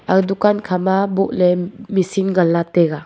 ag dukan khama boh le machine ngan la taiga.